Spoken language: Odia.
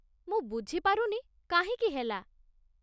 ମୁଁ ବୁଝିପାରୁନି କାହିଁକି ହେଲା?